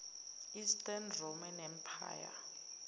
eastern roman empire